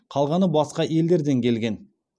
қалғаны басқа елдерден келген